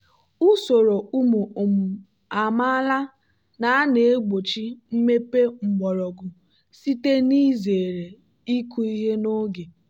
usoro ụmụ um amaala na-egbochi mmepe mgbọrọgwụ site n'izere ịkụ ihe n'oge.